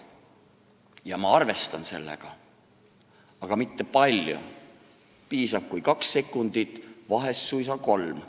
Ja ma arvestan sellega, aga mitte palju – piisab, kui kaks sekundit, vahel suisa kolm.